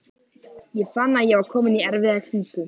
Ég fann að ég var kominn í erfiða klípu.